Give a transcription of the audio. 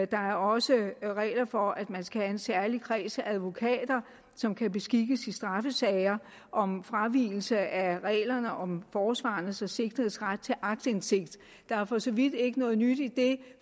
der er også regler for at man skal have en særlig kreds af advokater som kan beskikkes i straffesager om fravigelse af reglerne om forsvarernes og sigtedes ret til aktindsigt der er for så vidt ikke noget nyt i det